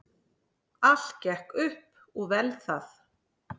Allt gekk upp og vel það.